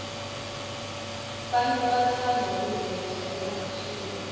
bantfu batsandza kubheja emahhashi